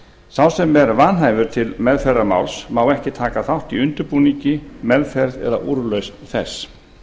sá sem er vanhæfur til meðferðar máls má ekki taka þátt í undirbúningi meðferð eða úrlausn þess